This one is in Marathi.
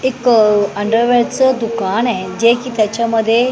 एक अंडरवेरच दुकान आहे जे की त्याच्यामध्ये--